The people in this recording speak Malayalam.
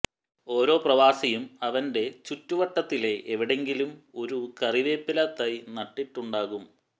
ഓരോ പ്രവാസിയും അവന്റെ ചുറ്റുവട്ടത്തിലെവിടെയങ്കിലും ഒരു കറിവേപ്പില തൈ നട്ടിട്ടുണ്ടാകും